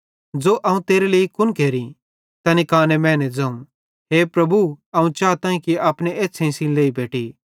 ज़ो अवं तेरे लेइ कुन केरि तैनी काने मैने ज़ोवं हे प्रभु अवं चाताईं कि अपनी एछ़्छ़ेईं सेइं लेई बेटि